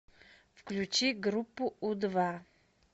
включи группу у два